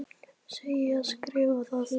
Segi og skrifa það.